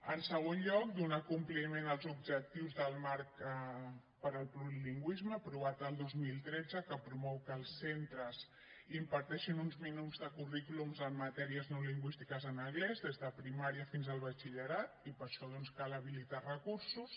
en segon lloc donar compliment als objectius del marc per al plurilingüisme aprovat el dos mil tretze que promou que els centres imparteixin uns minuts de currículums en matèries no lingüístiques en anglès des de primària fins al batxillerat i per això doncs cal habilitar recursos